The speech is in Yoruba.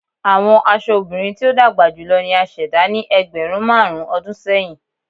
Awọn aṣọ obirin ti o dagba julọ ni a ṣẹda ni ẹgbẹrun marun ọdun sẹyin